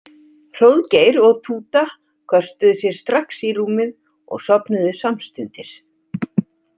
Hróðgeir og Túta köstuðu sér strax í rúmið og sofnuðu samstundis.